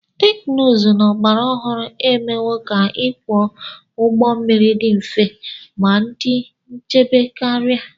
teknụzụ ọgbara ọhụrụ emewo ka ịkwọ ụgbọ mmiri dị mfe ma dị nchebe karị